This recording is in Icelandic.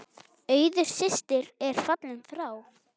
Auður systir er fallin frá.